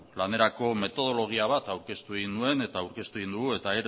lanerako metodologia bat aurkeztu egin nuen eta aurkeztu egin dugu eta